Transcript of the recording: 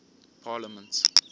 parliament